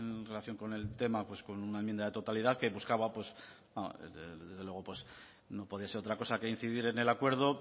en relación con el tema pues con una enmienda de totalidad que buscaba desde luego no podría ser otra cosa que incidir en el acuerdo